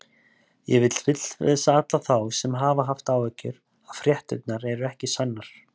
Ég vil fullvissa alla þá sem hafa haft áhyggjur að fréttirnar eru ekki sannar.